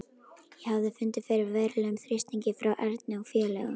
Ég hafði fundið fyrir verulegum þrýstingi frá Erni og félögum.